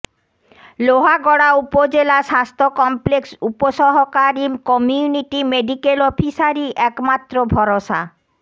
লোহাগড়া উপজেলা স্বাস্থ্য কমপ্লেক্স উপসহকারী কমিউনিটি মেডিকেল অফিসারই একমাত্র ভরসা